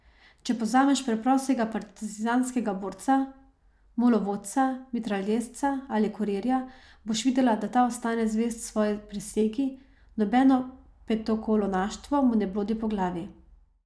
Če pa vzameš preprostega partizanskega borca, mulovodca, mitraljezca ali kurirja, boš videla, da ta ostane zvest svoji prisegi, nobeno petokolonaštvo mu ne blodi po glavi.